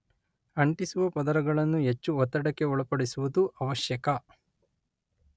ಅಂಟಿಸುವ ಪದರಗಳನ್ನು ಹೆಚ್ಚು ಒತ್ತಡಕ್ಕೆ ಒಳಪಡಿಸುವುದು ಆವಶ್ಯಕ.